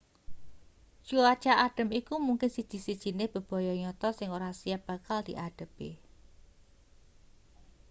cuaca adhem iku mungkin siji-sijine bebaya nyata sing ora siap bakal diadhepi